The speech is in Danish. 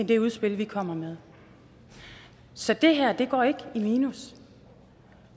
det udspil vi kommer med så det her går ikke i minus